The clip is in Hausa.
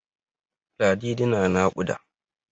Ladidi na naƙuda.